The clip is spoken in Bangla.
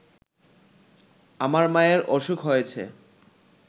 আমার মায়ের অসুখ হয়েছে